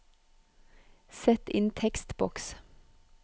Sett inn tekstboks